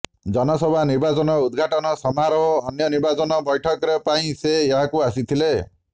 ଜନସଭା ନିର୍ବାଚନ ଉଦଘାଟନ ସମାରୋହ ଅନ୍ୟ ନିର୍ବାଚନ ବୈଠକରେ ପାଇଁ ସେ ଏଠାକୁ ଆସିଥିଲେ